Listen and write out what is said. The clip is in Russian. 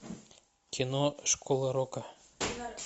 кино школа рока